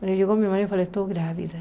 Mas chegou meu marido falei, estou grávida.